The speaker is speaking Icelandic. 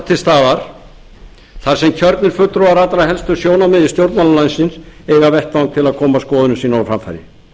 til staðar þar sem kjörnir fulltrúar allra helstu sjónarmiða í stjórnmálum landsins eiga vettvang til að koma skoðunum sínum á framfæri